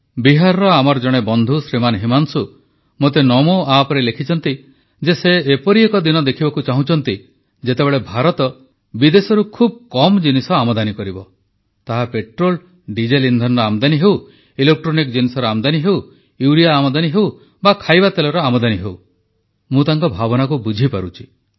ବିହାରର ଆମର ଜଣେ ବନ୍ଧୁ ଶ୍ରୀମାନ ହିମାଂଶୁ ମୋତେ ନମୋ ଆପରେ ଲେଖିଛନ୍ତି ଯେ ସେ ଏପରି ଏକ ଦିନ ଦେଖିବାକୁ ଚାହୁଁଛନ୍ତି ଯେତେବେଳେ ଭାରତ ବିଦେଶରୁ ଖୁବ୍ କମ୍ ଜିନିଷ ଆମଦାନୀ କରିବ ତାହା ପେଟ୍ରୋଲ୍ ଡିଜେଲ୍ ଇନ୍ଧନର ଆମଦାନୀ ହେଉ ଇଲେକ୍ଟ୍ରୋନିକ୍ ଜିନିଷର ଆମଦାନୀ ହେଉ ୟୁରିଆ ଆମଦାନୀ ହେଉ ବା ଖାଇବା ତେଲର ଆମଦାନୀ ହେଉ ମୁଁ ତାଙ୍କ ଭାବନାକୁ ବୁଝିପାରୁଛି